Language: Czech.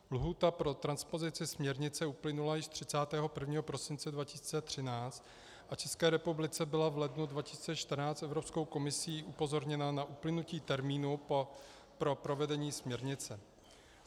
Lhůta pro transpozici směrnice uplynula již 31. prosince 2013 a Česká republika byla v lednu 2014 Evropskou komisí upozorněna na uplynutí termínu pro provedení směrnice.